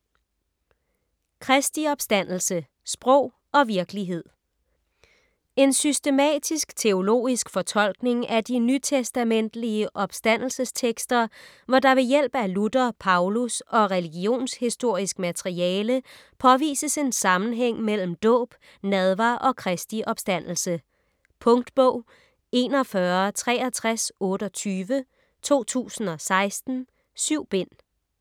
Kristi opstandelse: sprog og virkelighed En systematisk-teologisk fortolkning af de nytestamentelige opstandelsestekster hvor der ved hjælp af Luther, Paulus og religionshistorisk materiale påvises en sammenhæng mellem dåb, nadver og Kristi opstandelse. Punktbog 416328 2016. 7 bind.